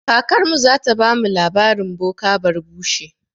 Kakarmu zata bamu labarin boka barbushe.